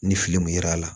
Ni fili kun yera a la